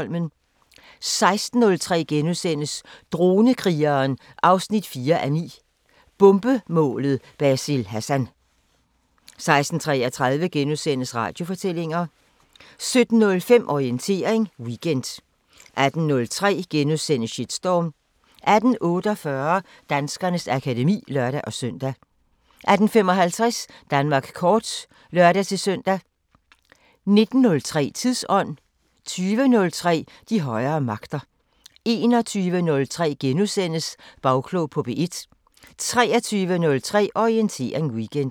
16:03: Dronekrigeren 4:9 – Bombemålet Basil Hassan * 16:33: Radiofortællinger * 17:05: Orientering Weekend 18:03: Shitstorm * 18:48: Danskernes akademi (lør-søn) 18:55: Danmark kort (lør-søn) 19:03: Tidsånd 20:03: De højere magter 21:03: Bagklog på P1 * 23:03: Orientering Weekend